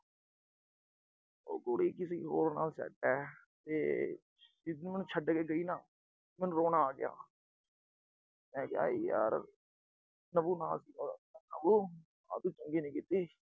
ਉਹ ਕੁੜੀ ਕਿਸੀ ਹੋਰ ਨਾਲ set ਆ ਤੇ ਜਿਦਨ ਉਹ ਮੈਨੂੰ ਛੱਡ ਕੇ ਗਈ ਨਾ, ਮੈਨੂੰ ਰੋਣਾ ਆ ਗਿਆ। ਮੈਂ ਕਿਹਾ ਯਾਰ ਪ੍ਰਭੂ ਨਾਥ, ਪ੍ਰਭੂ ਆਹ ਤੂੰ ਚੰਗੀ ਨੀ ਕੀਤੀ।